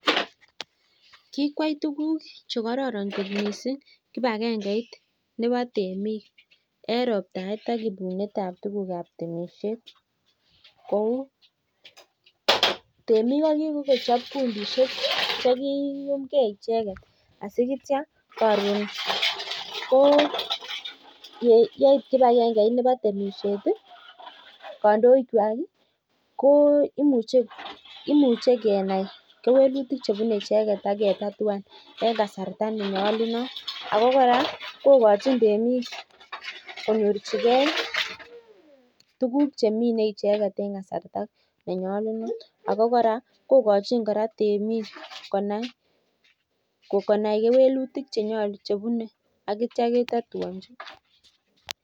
Kikwai tuguk chekororon kot missing kipagengeit nebo temik en roptaet ak ibunet ab tuguk ab temisiet kou temiik ko kikochop kundisiek chekiyumgee icheket si itya ko yeit kipagengeit nebo temisiet kandoik kwak ko imuche kenai kewelutik chebune inendet ak ketatuan en kasarta ne nyolunot ako kora kokochin temiik konyorchigee tuguk chemine icheket en kasarta ne nyolunot ako kora kokochin kora temiik konai kewelutik chenyo chebune ak itya ketatuonji